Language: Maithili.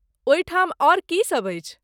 ओहि ठाम आओर की सभ अछि?